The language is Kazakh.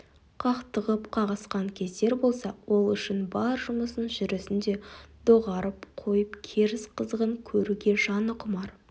қақтығып-қағысқан кездер болса ол үшін бар жұмысын жүрісін де доғарып қойып керіс қызығын көруге жаны құмар